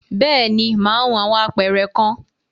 Bẹ́ẹ̀ni, mà á hun awọn apẹ̀rẹ̀ kan.